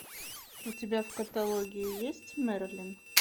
у тебя в каталоге есть мерлин